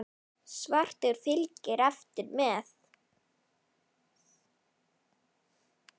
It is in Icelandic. Svartur fylgir eftir með.